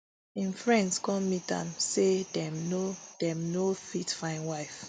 im friends come meet am say dem no dem no fit find wife